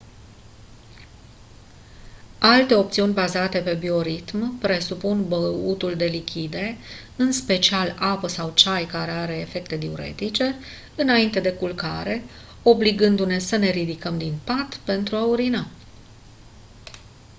alte opțiuni bazate pe bioritm presupun băutul de lichide în special apă sau ceai care are efecte diuretice înainte de culcare obligându-ne să ne ridicăm din pat pentru a urina